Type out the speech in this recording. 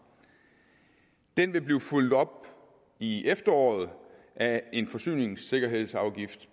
den vil blive fulgt op i efteråret af en forsyningssikkerhedsafgift